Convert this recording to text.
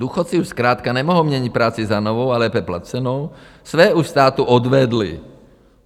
Důchodci už zkrátka nemohou měnit práci za novou a lépe placenou, své už státu odvedli.